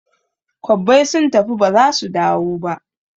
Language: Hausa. Kwabbai sun tafi ba zasu dawo ba